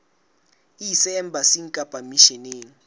e ise embasing kapa misheneng